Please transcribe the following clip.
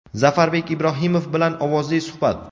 Zafarbek Ibrohimov bilan ovozli suhbat!.